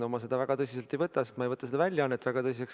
No mina seda väga tõsiselt ei võta, sest ma ei võta seda väljaannet väga tõsiselt.